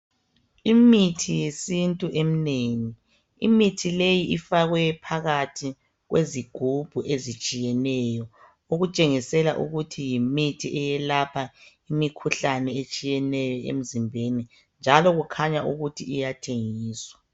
Imithi yesintu eminengi , imithi leyi ifakwe phakathi kwezigubhu ezitshiyeneyo okutshengisela ukuthi yimithi eyalapha imikhuhlane etshiyeneyo emizimbeni njalo kukhanya ukuthi iyathengiswa .